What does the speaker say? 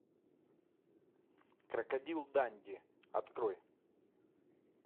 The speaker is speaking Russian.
крокодил данди открой